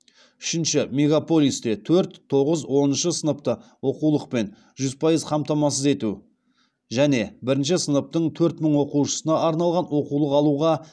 үшінші мегаполисте төрт тоғыз оныншы сыныпты оқулықпен жүз пайыз қамтамасыз ету және бірінші сыныптың төрт мың оқушысына арналған оқулық алуға